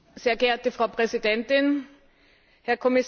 Frau Präsidentin, Herr Kommissar!